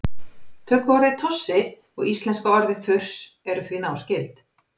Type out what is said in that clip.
Tökuorðið tossi og íslenska orðið þurs eru því náskyld.